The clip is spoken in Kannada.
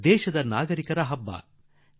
ಸಮಸ್ತ ದೇಶವಾಸಿಗಳದ್ದಾಗಬೇಕು